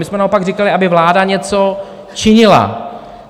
My jsme naopak říkali, aby vláda něco činila.